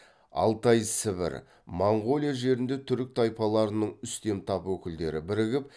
алтай сібір моңғолия жерінде түрік тайпаларының үстем тап өкілдері бірігіп